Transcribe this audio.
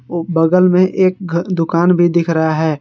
वो बगल में एक घ दुकान भी दिख रहा है।